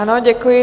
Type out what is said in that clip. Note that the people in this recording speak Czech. Ano, děkuji.